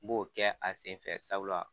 N b'o kɛ a senfɛ sabu